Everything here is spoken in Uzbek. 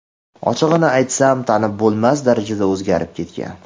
Ochig‘ini aytsam, tanib bo‘lmas darajada o‘zgarib ketgan.